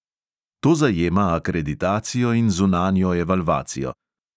To zajema akreditacijo in zunanjo evalvacijo.